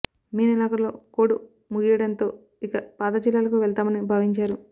మే నెలాఖరులో కోడ్ ముగియడంతో ఇక పాత జిల్లాలకు వెళ్తామని భావించారు